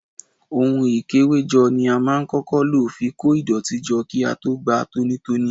Ohun ikewejo ni a máa ń kọ́kọ́ lo fi kó ìdọ̀tí jọ kí a tó gba tónítóní.